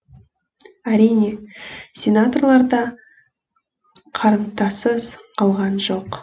әрине сенаторлар да қарымтасыз қалған жоқ